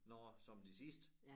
Nåh som det sidste